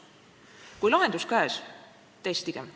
Kui lahendus on käes, siis testigem.